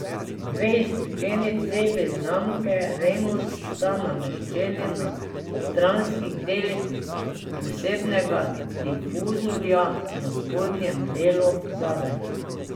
Dve izpušni cevi znamke Remus sta nameščeni na stranskih delih posebnega difuzorja na spodnjem delu zadaj.